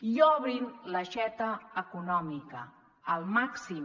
i obrin l’aixeta econòmica al màxim